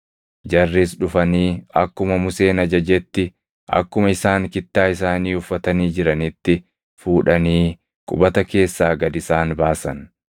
Jarris dhufanii akkuma Museen ajajetti akkuma isaan kittaa isaanii uffatanii jiranitti fuudhanii qubata keessaa gad isaan baasan.